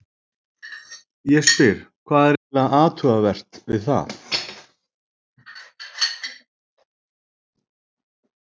Ég spyr, hvað er eiginlega athugavert við það?